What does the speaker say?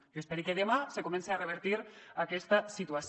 jo espere que demà se comence a revertir aquesta situació